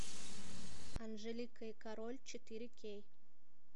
анжелика и король четыре кей